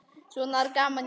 Svona var gaman hjá okkur.